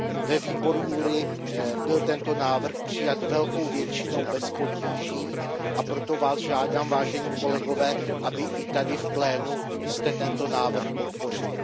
Ve výboru JURI byl tento návrh přijat velkou většinou bez potíží, a proto Vás žádám, vážení kolegové, abyste i tady v plénu tento návrh podpořili.